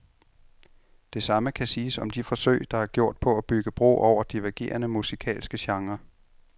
Det samme kan siges om de forsøg, der er gjort på at bygge bro over divergerende musikalske genrer.